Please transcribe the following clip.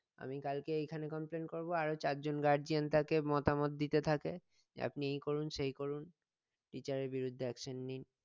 আমি কালকে এইখানে complain করবো আরো চারজন guardian তাকে মতামত দিতে থাকে যে আপনি এই করুন সেই করুন teacher এর বিরুদ্ধে action নিন